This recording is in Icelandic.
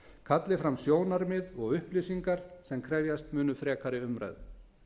kalli fram sjónarmið og upplýsingar sem krefjast munu frekari umræðu